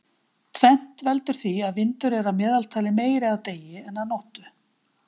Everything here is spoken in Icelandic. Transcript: Tvennt veldur því að vindur er að meðaltali meiri að degi en nóttu.